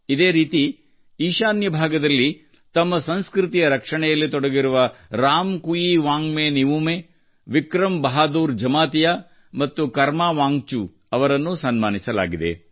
ಇದೇ ರೀತಿ ಈಶಾನ್ಯ ಭಾಗದಲ್ಲಿ ತಮ್ಮ ಸಂಸ್ಕೃತಿಯ ರಕ್ಷಣೆಯಲ್ಲಿ ತೊಡಗಿರುವ ರಾಮ್ ಕುಯಿ ವಾಂಗ್ಬೆ ನಿವುಮೆ ವಿಕ್ರಂ ಬಹಾದೂರ್ ಜಮಾತಿಯಾ ಮತ್ತು ಕರಮಾ ವಾಂಗ್ಚು ಅವರನ್ನೂ ಸನ್ಮಾನಿಸಲಾಗಿದೆ